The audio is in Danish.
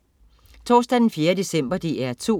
Torsdag den 4. december - DR2: